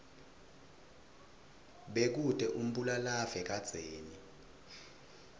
bekute umbulalave kadzeni